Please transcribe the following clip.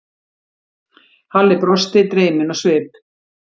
Halli brosti, dreyminn á svip.